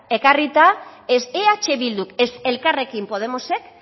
ekarrita ez eh bilduk ez elkarrekin podemosek